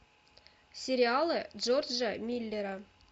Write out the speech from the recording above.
сериалы джорджа миллера